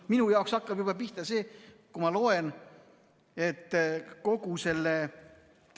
Minu jaoks hakkab see pihta juba sellest, kui ma loen, et kogu selle ...